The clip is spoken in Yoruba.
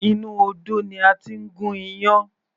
Inú odó ni a ti ń gún iyán.